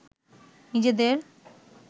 নিজেদের